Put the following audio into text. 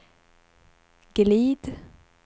glid